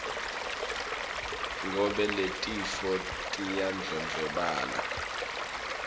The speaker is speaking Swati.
ngobe letifo tiyandlondlobala